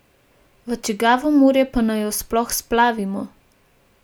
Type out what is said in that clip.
V čigavo morje pa naj jo sploh splavimo?